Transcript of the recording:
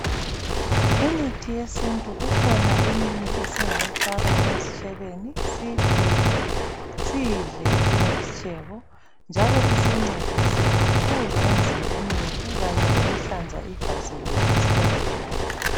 Imithi yesintu, kukhona eminye esingayifaka ezitshebeni siyipheke, siyidle njengesitshebo. Njalo isincedise kakhulu emzimbeni yethu kanye lokuhlanza igazi lethu zikhathi zonke.